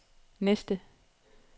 næste